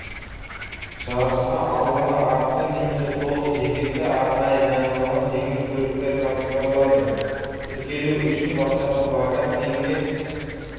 жарысқа алдыңғы артқы немесе толық жетекті арнайы дайындалған жеңіл көліктер қатыстырылады тіркелу үшін бастапқы баға теңге